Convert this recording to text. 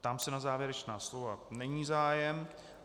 Ptám se na závěrečná slova - není zájem.